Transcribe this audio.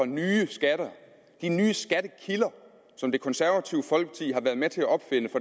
nye skatter nye skattekilder som det konservative folkeparti har været med til at opfinde